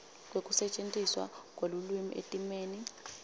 kwekusetjentiswa kwelulwimi etimeni